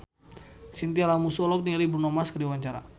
Chintya Lamusu olohok ningali Bruno Mars keur diwawancara